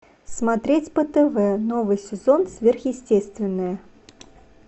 смотреть по тв новый сезон сверхъестественное